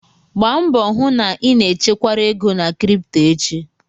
Gbaa mbọ hụ na ị na-echekwara ego na krịptọ echi